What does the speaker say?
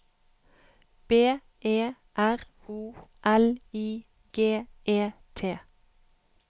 B E R O L I G E T